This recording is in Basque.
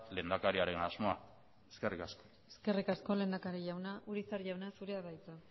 lehendakariaren asmoa eskerrik asko eskerrik asko lehendakari jauna urizar jauna zurea da hitza